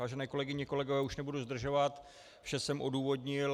Vážené kolegyně, kolegové, už nebudu zdržovat, vše jsem odůvodnil.